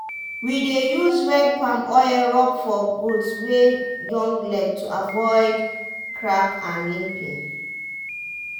we dey use red palm oil rub for goat wey young leg to avoid crack and limping.